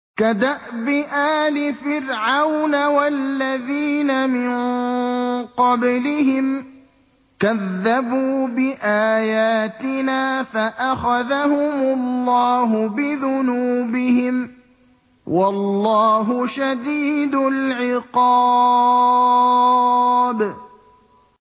كَدَأْبِ آلِ فِرْعَوْنَ وَالَّذِينَ مِن قَبْلِهِمْ ۚ كَذَّبُوا بِآيَاتِنَا فَأَخَذَهُمُ اللَّهُ بِذُنُوبِهِمْ ۗ وَاللَّهُ شَدِيدُ الْعِقَابِ